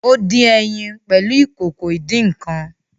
O din ẹyin pẹlu Ìkòkò ìdín-nǹkan